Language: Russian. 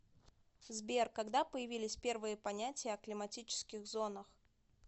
сбер когда появились первые понятия о климатических зонах